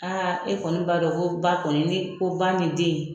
Aa e kɔni b'a dɔn ko ba kɔni ni ko ba nin den